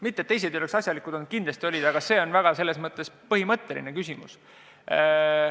Mitte et teised ei ole asjalikud olnud, kindlasti olid, aga see on väga põhimõtteline küsimus.